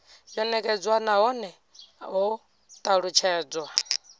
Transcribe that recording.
yo nekedzwa nahone ho talutshedzwa